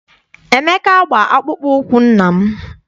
Emeka gba akpụkpọ ụkwụ nna m.